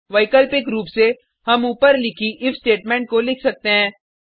वैकल्पिक रूप से हम ऊपर लिखी इफ स्टेटमेंट को लिख सकते हैं